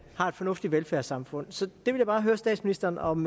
fornuftigt velfærdssamfund så jeg vil bare høre statsministeren om